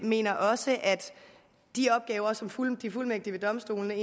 mener også at de opgaver som fuldmægtige fuldmægtige ved domstolene